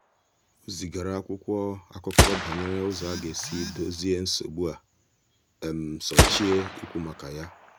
ha haziri oge mmekọrịta dị jụụ nke na-achọghị ikike maọbụ na-achọghị ikike maọbụ mgbalị dị ukwuu.